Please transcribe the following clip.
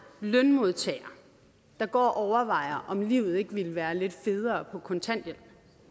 lønmodtagere der går og overvejer om livet ikke ville være lidt federe på kontanthjælp